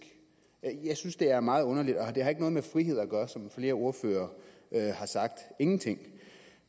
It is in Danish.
jeg synes det er meget underligt og det har ikke noget med frihed at gøre som flere ordførere har sagt ingenting